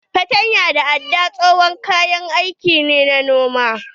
Fartanya da aɗɗa tsohon kayan aiki na noma ne.